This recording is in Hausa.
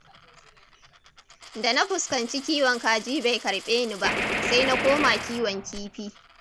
Da na fuskanci kiwon kaji bai karɓe ni ba, sai na koma kiwon kifi.